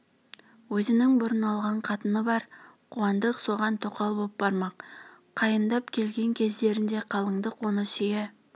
өзінің бұрын алған қатыны бар қуандық соған тоқал боп бармақ қайындап келген кездерінде қалыңдық оны сүйе